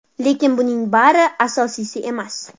Lekin buning bari asosiysi emas.